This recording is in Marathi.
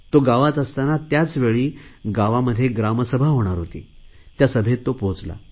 तो गावात असतांना त्याचवेळी गावात ग्रामसभा होणार होती त्या सभेत तो पोहोचला